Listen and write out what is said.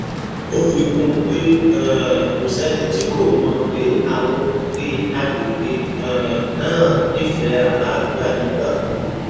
ó fi kún un pé um kò sẹ́ni tí kò mọ̀ pé àwọn olùgbé àgbègbè um náà nífẹ̀ẹ́ àlàáfíà nígbà gbogbo